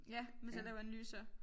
Ja hvis jeg laver analyser